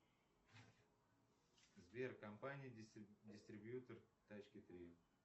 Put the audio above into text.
сбер компания дистрибьютор тачки три